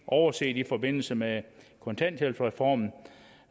overset i forbindelse med kontanthjælpsreformen